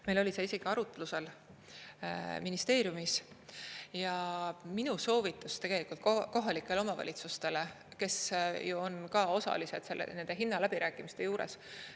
Meil oli see isegi arutlusel ministeeriumis ja minu soovitus tegelikult kohalikele omavalitsustele, kes on ka osalised nende hinnaläbirääkimiste juures.